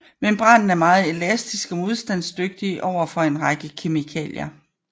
Membranen er meget elastisk og modstandsdygtig over for en række kemikalier